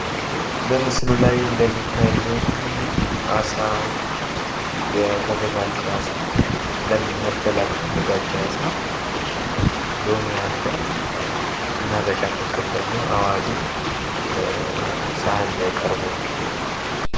በምስሉ ላይ እንደሚታየኝ አሳ ፤ የተዘጋጀ አሳ ፤ ለመበላት የተዘጋጀ አሳ፥ ሎሚ አለ እና በቻፍ በኩል ደሞ አዋዜ በሰሃን ላይ ቀርቦ፡፡